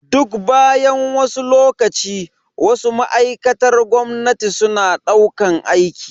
Duk bayan wasu lokaci, Wasu ma'aikatar gwamnati suna daukan aiki.